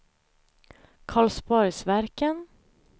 Karlsborgsverken